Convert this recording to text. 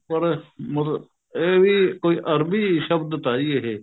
ਹੋਰ ਮਤਲਬ ਇਹ ਵੀ ਕੋਈ ਅਰਬੀ ਸ਼ਬਦ ਤਾ ਜੀ ਇਹ